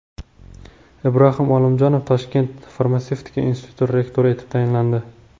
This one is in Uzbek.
Ibrohim Olimjonov Toshkent farmatsevtika instituti rektori etib tayinlandi.